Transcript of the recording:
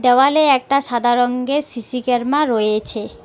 দেওয়ালে একটা সাদা রঙ্গের সি_সি ক্যারমা রয়েছে।